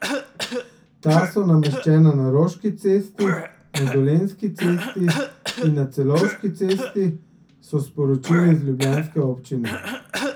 Ta so nameščena na Roški cesti, na Dolenjski cesti in na Celovški cesti, so sporočili z ljubljanske občine.